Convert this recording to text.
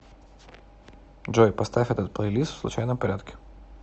джой поставь этот плейлист в случайном порядке